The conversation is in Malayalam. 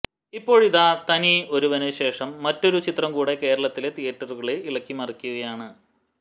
ഇപ്പോഴിതാ തനി ഒരുവന് ശേഷം മറ്റൊരു ചിത്രം കൂടെ കേരളത്തിലെ തിയറ്ററുകളെ ഇളക്കി മറിക്കുകയാണ്